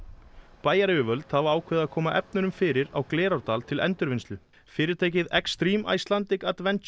bæjaryfirvöld hafa ákveðið að koma efnunum fyrir á Glerárdal til endurvinnslu fyrirtækið Icelandic